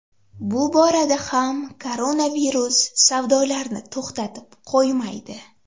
Bu borada ham koronavirus savdolarni to‘xtatib qo‘ymaydi.